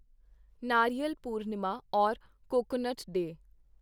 ਨਾਰੀਅਲ Purnima or coconut day